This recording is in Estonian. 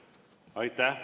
Aitäh!